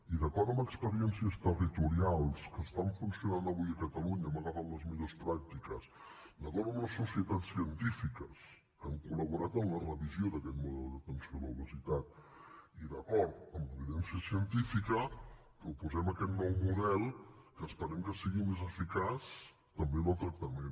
i d’acord amb experiències territorials que estan funcionant avui a catalunya hem agafat les millors pràctiques d’acord amb les societats científiques que han col·laborat en la revisió d’aquest model d’atenció a l’obesitat i d’acord amb l’evidència científica proposem aquest nou model que esperem que sigui més eficaç també en el tractament